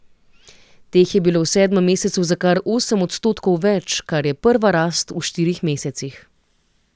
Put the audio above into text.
Teh je bilo v sedmem mesecu za kar osem odstotkov več, kar je prva rast v štirih mesecih.